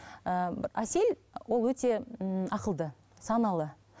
ііі әсел ол өте ммм ақылды саналы